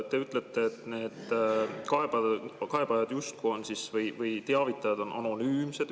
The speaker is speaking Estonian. Te ütlete, et need kaebajad või teavitajad justkui on anonüümsed.